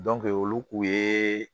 olu kun ye